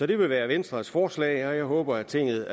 det vil være venstres forslag og jeg håber at tinget